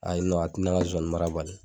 Ayi a tɛ ne ka sonsanninmara bali